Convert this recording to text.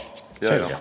Vabandust!